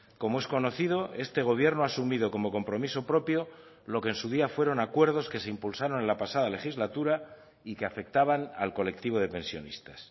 como es conocido este gobierno ha asumido como compromiso propio lo que en su día fueron acuerdos que se impulsaron en la pasada legislatura y que afectaban al colectivo de pensionistas